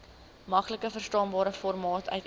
maklikverstaanbare formaat uiteen